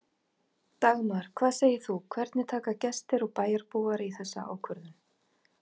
Dagmar, hvað segir þú, hvernig taka gestir og bæjarbúar í þessa ákvörðun?